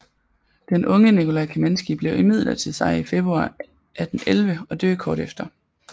Den unge Nikolaj Kamenskij blev imidlertid sig i februar 1811 og døe kort efter